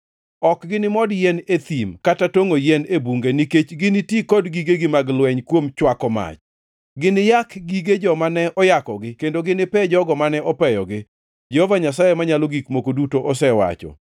Ok ginimod yien e thim kata tongʼo yien e bunge nikech giniti kod gigegi mag lweny kuom chwako mach. Giniyak gige joma ne oyakogi kendo ginipe jogo mane opeyogi; Jehova Nyasaye Manyalo Gik Moko Duto osewacho.